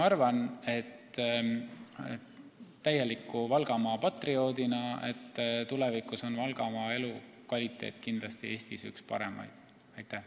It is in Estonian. Ja täieliku Valgamaa patrioodina ma arvan, et tulevikus on Valgamaa elukvaliteet kindlasti üks paremaid Eestis.